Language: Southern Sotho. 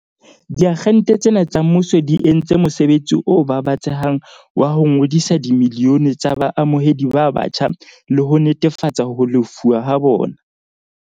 Diagente tsena tsa mmuso di entse mosebetsi o babatsehang wa ho ngodisa dimilione tsa baamohedi ba batjha le ho netefatsa ho lefuwa ha bona.